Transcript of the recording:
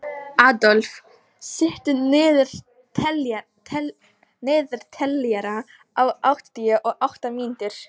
Adolf, stilltu niðurteljara á áttatíu og átta mínútur.